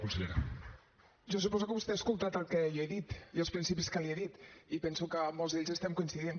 jo suposo que vostè ha escoltat el que jo he dit i els principis que li he dit i penso que en molts d’ells estem coincidint